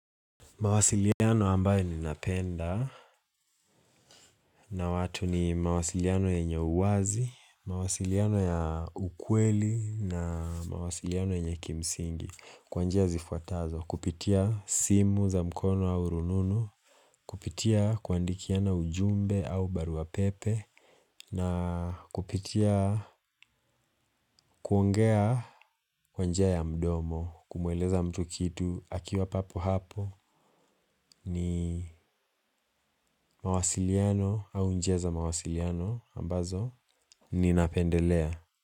Mawasiliano ambayo ninapenda na watu ni mawasiliano yenye uwazi, mawasiliano ya ukweli na mawasiliano yenye kimsingi kwa njia zifuatazo, kupitia simu za mkono au rununu, kupitia kuandikiana ujumbe au barua pepe na kupitia kuongea kwa njia ya mdomo kumweleza mtu kitu akiwa papo hapo ni mawasiliano au njia za mawasiliano. Ambazo, ninapendelea.